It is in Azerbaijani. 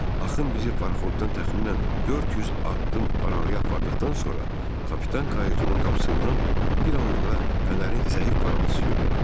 Axın bizi paraxoddan təxminən 400 addım aralaya apardıqdan sonra, Kapitan kayutunun qapısından bir anlığa fənərin zəif parıltısı göründü.